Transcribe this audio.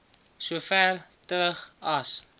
sover terug as